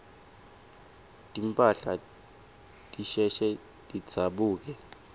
timphahla tisheshe tidzabuke